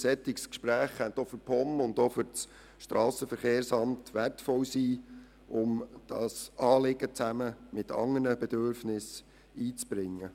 Ein solches Gespräch könnte auch für die POM und das SVSA wertvoll sein, um das Anliegen zusammen mit anderen Bedürfnissen einzubringen.